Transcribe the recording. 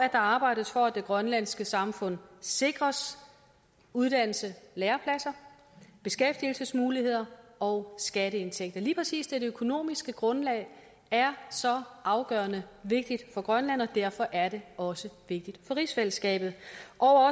arbejdes for at det grønlandske samfund sikres uddannelses og lærepladser beskæftigelsesmuligheder og skatteindtægter lige præcis det økonomiske grundlag er så afgørende vigtigt for grønland og derfor er det også vigtigt for rigsfællesskabet